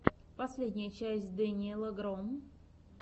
последняя часть дэниеля гро